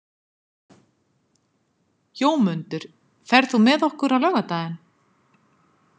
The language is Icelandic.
Jómundur, ferð þú með okkur á laugardaginn?